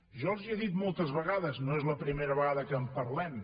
jo els ho he dit moltes vegades no és la primera vegada que en parlem